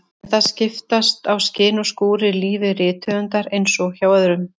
En það skiptast á skin og skúrir í lífi rithöfundar eins og hjá öðrum.